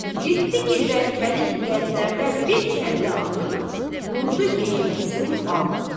Getdi girvənkəlik qəndlərdən bir kəllə alıb vurdu geyməsini altına.